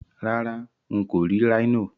Rárá, n kò rì Rhino